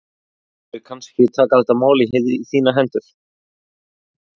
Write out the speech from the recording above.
Mundirðu kannski taka þetta mál í þínar hendur?